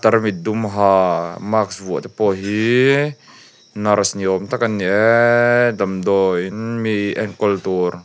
tarmit dum haa mask vuah te pawh hiiii nurse ni awm tak an ni eee damdawi in mi enkawl tur--